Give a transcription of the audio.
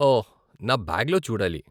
ఓహ్, నా బ్యాగ్లో చూడాలి.